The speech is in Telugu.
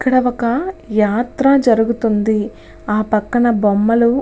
ఇక్కడ ఒక యాత్ర జరుగుతుంది అ పక్కన బొమ్మలు.